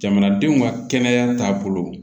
Jamanadenw ka kɛnɛya taabolo